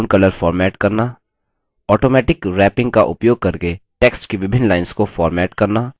automatic wrapping का उपयोग करके text की विभिन्न lines को फॉर्मेट करना